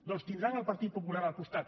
doncs tindran el partit popular al costat